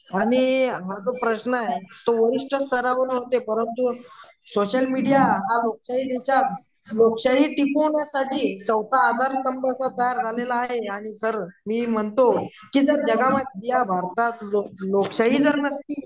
आणि प्रश्न हा जो प्रश्न आहे तो परंतु सोशल मीडिया लोकशाही टिकवण्यासाठी आधारस्तंभ तयार झालेला आहे आणि सर मी म्हणतो सर या भारतात लोकशाही जर नसती